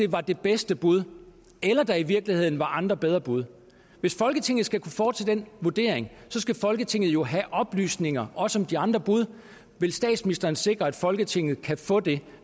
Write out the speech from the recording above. var det bedste bud eller der i virkeligheden var andre bedre bud hvis folketinget skal kunne foretage den vurdering skal folketinget jo have oplysninger også om de andre bud vil statsministeren sikre at folketinget kan få det